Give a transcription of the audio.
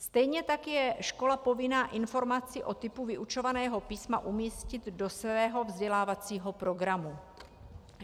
Stejně tak je škola povinna informaci o typu vyučovaného písma umístit do svého vzdělávacího programu.